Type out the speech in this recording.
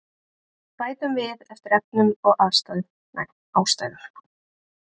Bætum við eftir efnum og ástæðum